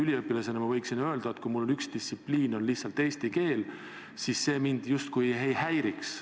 Kuigi üliõpilasena võiksin ma öelda, et kui mul üks distsipliin on lihtsalt eesti keel, siis see mind justkui ei häiriks.